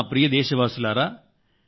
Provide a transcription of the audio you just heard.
నా ప్రియమైన నాదేశవాసుల్లారా